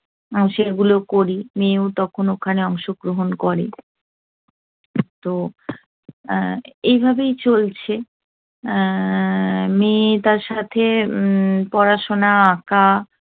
সেগুলো করি। মেয়েও তখন ওখানে অংশগ্রহন করে। তো আহ এইভাবেই চলছে। আহ মেয়ে তার সাথে উম পড়াশোনা, আঁকা